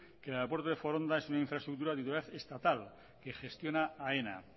que en el aeropuerto de foronda es una infraestructura de titularidad estatal que gestiona aena